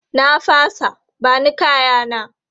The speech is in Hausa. Na fasa, ba ni kaya na!